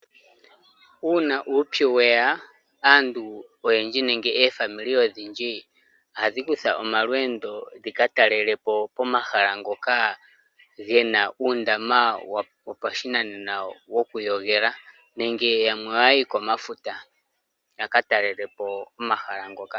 Uuna uumpu weya, aantu oyendji, nenge omazimo ogendji ohaga kutha omalweendo gaka talelepo, omahala ngoka gena uundama wo pashinanena wo kuyogela, nenge yamwe oha ya yi komafuta, yaka talelepo omahala ngoka.